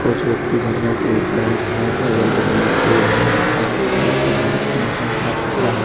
कुछ व्यक्ति झरने के ऊपर है झरने के अगल-बगल में पेड़ है बहुत सारे घास-फूस है मौसम साफ सुथरा है।